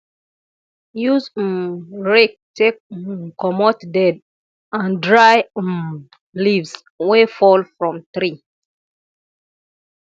use um rake take um comot dead and dry um leaves wey fall from tree